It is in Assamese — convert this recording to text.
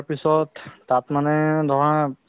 to সন্ধিয়া সময়ে এতিয়া বতাহ দি আছে অলপমানে